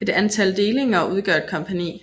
Et antal delinger udgør et kompagni